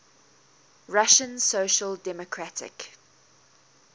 russian social democratic